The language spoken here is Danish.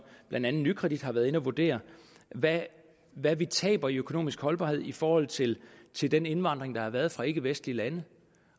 blandt andet nykredit har været inde at vurdere hvad hvad vi taber i økonomisk holdbarhed i forhold til til den indvandring der har været fra ikkevestlige lande